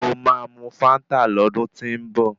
Mo máa mu fáńtà lọ́dún tí ń bọ̀.